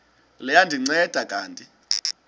liya ndinceda kanti